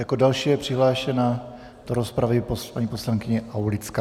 Jako další je přihlášena do rozpravy paní poslankyně Aulická.